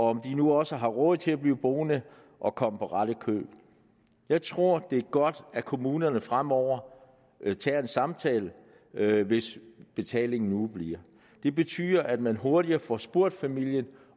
om de nu også har råd til at blive boende og komme på ret køl jeg tror det er godt at kommunerne fremover tager en samtale hvis betalingen udebliver det betyder at man hurtigere får spurgt familien